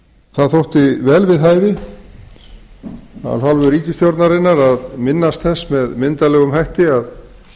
það þótti vel við hæfi af hálfu ríkisstjórnarinnar að minnast þess með myndarlegum hætti að